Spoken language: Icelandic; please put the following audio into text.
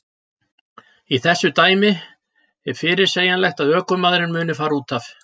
Í þessu dæmi er fyrirsegjanlegt að ökumaðurinn muni fara útaf.